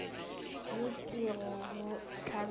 ye ke go go tlabela